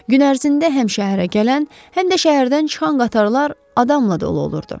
Gün ərzində həm şəhərə gələn, həm də şəhərdən çıxan qatarlar adamla dolu olurdu.